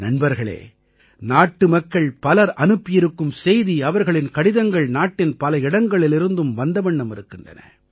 நண்பர்களே நாட்டுமக்கள் பலர் அனுப்பியிருக்கும் செய்தி அவர்களின் கடிதங்கள் நாட்டின் பல இடங்களிலிருந்தும் வந்த வண்ணம் இருக்கின்றன